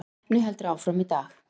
Keppni heldur áfram í dag